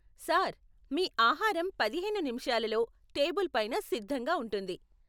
Sir, మీ ఆహారం పదిహేను నిముషాలలో టేబుల్ పైన సిద్ధంగా ఉంటుంది.